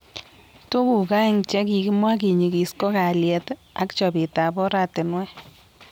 Tukuk aeng chekokimwa kinyikis ko kalyet ak chobet ab oratinwek